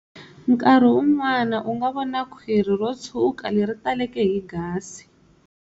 Nkarhi wun'wana u nga vona khwiri ro tshuka leri taleke hi gasi.